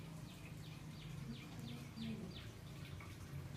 включи канал номер